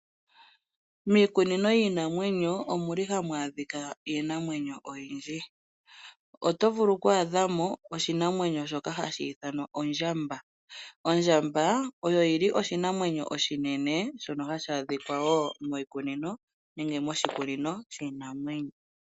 Miikununo yiinanwenyo omuli hamu adhika iinima oyindji. Oto vulu okwadhamo oshinamwenyo shoka hashi ithanwa ondjamba. Ondjamba oyo oshinamwenyo oshinene hashi adhika miikununo yiinanwenyo.